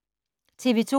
TV 2